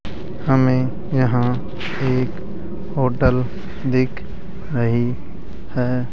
हमें यहां एक होटल दिख रही है।